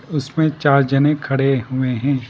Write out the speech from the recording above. उसमें चार जने खड़े हुए हैं।